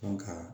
ka